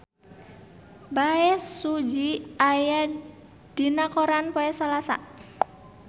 Bae Su Ji aya dina koran poe Salasa